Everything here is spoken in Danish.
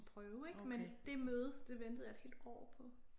Prøve ik men det møde det ventede jeg et helt år på